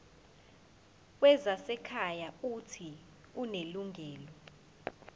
wezasekhaya uuthi unelungelo